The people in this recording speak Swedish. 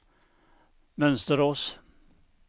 Mönsterås